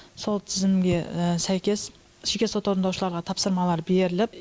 сол тізімге сәйкес жеке сот орындаушыларға тапсырмалар беріліп